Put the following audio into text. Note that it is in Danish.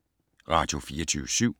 Radio24syv